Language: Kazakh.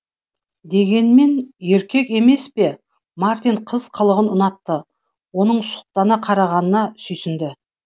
дегенмен еркек емес пе мартин қыз қылығын ұнатты оның сұқтана қарағанына сүйсінді